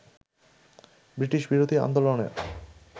ব্রিটিশবিরোধী আন্দোলনের